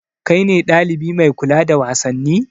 Kai ne ɗalibi mai kula da wasanni?